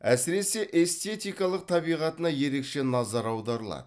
әсіресе эстетикалық табиғатына ерекше назар аударылады